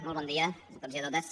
molt bon dia a tots i a totes